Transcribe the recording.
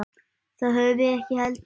Það höfðum við ekki heldur.